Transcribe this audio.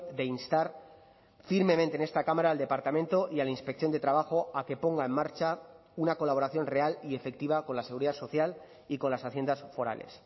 de instar firmemente en esta cámara al departamento y a la inspección de trabajo a que ponga en marcha una colaboración real y efectiva con la seguridad social y con las haciendas forales